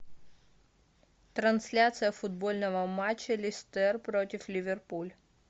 трансляция футбольного матча лестер против ливерпуль